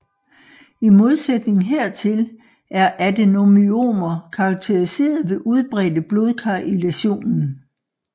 I modsætning hertil er adenomyomer karakteriseret ved udbredte blodkar i læsionen